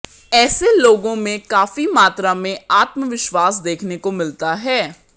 ऐसे लोगों में काफी मात्रा में आत्मविश्वास देखने को मिलता है